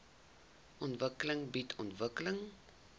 ontwikkeling bied ontwikkeling